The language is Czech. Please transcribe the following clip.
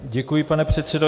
Děkuji, pane předsedo.